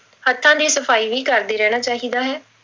ਹੱਥਾਂ ਦੀ ਸਫ਼ਾਈ ਵੀ ਕਰਦੇ ਰਹਿਣਾ ਚਾਹੀਦਾ ਹੈ।